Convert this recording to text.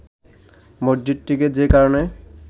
মসজিদটিকে যে কারণে